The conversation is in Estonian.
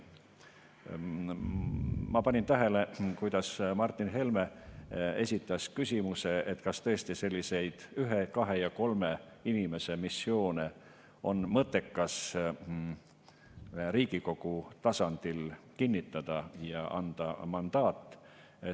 Ma panin tähele, kuidas Martin Helme esitas küsimuse, et kas tõesti selliseid ühe, kahe ja kolme inimese missioone on mõttekas Riigikogu tasandil kinnitada ja anda mandaat.